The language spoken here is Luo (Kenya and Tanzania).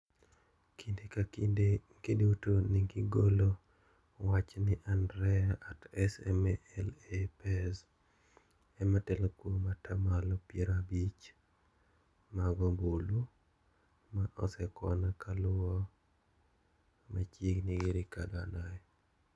Kinde ka kinde giduto negigolo wach ni AndreA @SM LA pez ema telo kuom atamalo piero abich mag obulu ma osekwan kaluwe machiegni gi Ricardo Anaya.